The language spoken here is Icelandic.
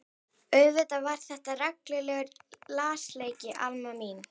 Auðvitað var þetta reglulegur lasleiki Alma mín.